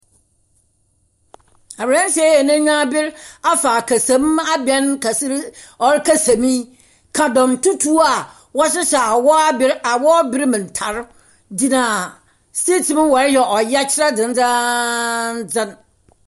Aberanteɛ yi a n'enyiwa aber afa akasam abɛn kɛse bi ɔrekasa mu yi. Kadam tutuw a wɔhyehyɛ a wɔaber awɔber mu ntar gyina street mu wɔreyɛ ɔyɛkyerɛ dzendzeendzen.